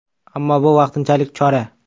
Ammo bu vaqtinchalik chora.